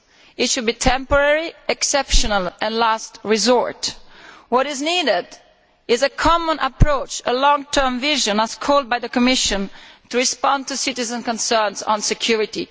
It should be temporary, exceptional and a last resort. What is needed is a common approach, a long term vision as called for by the Commission, to respond to citizens' concerns on security.